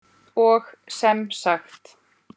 Og sem sagt!